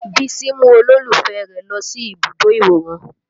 Bísí mú olólùfẹ́ rẹ̀ lọ sí ibùdó ìwòran